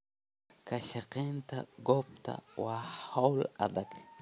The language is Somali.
Ka shaqaynta goobta waa hawl adag.